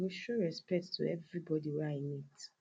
today i go show respect to everybodi wey i meet